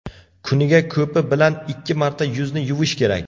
Kuniga ko‘pi bilan ikki marta yuzni yuvish kerak.